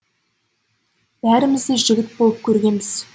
бәріміз де жігіт болып көргенбіз